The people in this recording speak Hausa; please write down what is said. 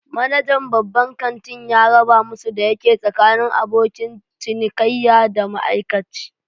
Manajan babban ƙanti ya raba musu da yake tsakanin abokin cinikayya da ma'aikaci